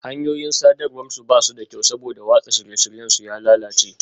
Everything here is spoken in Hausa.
Hanyoyin sadarwar su ba su da kyau saboda watsa shirye-shiryen su ya lalace